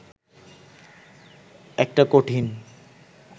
একটা কঠিন